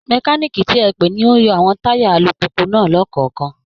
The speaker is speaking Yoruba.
Mẹkáníìkì ti ẹ pè ni ó ń yọ àwọn táyà alùpùpù náà lọ́kọ̀ọ̀kan